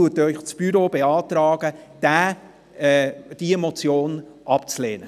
Deshalb beantragt Ihnen das Büro, diese Motion abzulehnen.